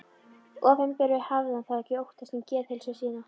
Opinberuninni, hafði hann þá ekki óttast um geðheilsu sína?